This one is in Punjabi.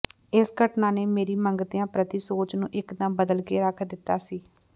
ਇਸ ਘਟਨਾ ਨੇ ਮੇਰੀ ਮੰਗਤਿਆਂ ਪ੍ਰਤੀ ਸੋਚ ਨੂੰ ਇੱਕਦਮ ਬਦਲ ਕੇ ਰੱਖ ਦਿੱਤਾ ਸੀ